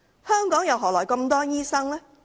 香港又何來這麼多醫生呢？